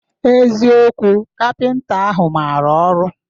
Eziokwu, kapịnta ahụ mara ọrụ?